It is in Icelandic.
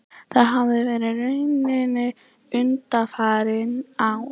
Það hafi verið raunin undanfarin ár